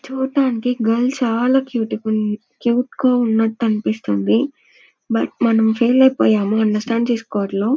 చూడటానికి గర్ల్ చాలా క్యూట్ గున్ క్యూట్ గా ఉన్నట్టు అనిపిస్తుంది. బట్ మనం ఫెయిల్ అయిపోయాం అండర్స్టాండ్ చేసుకోవటంలో--